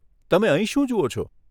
તમે અહીં શું જુઓ છો?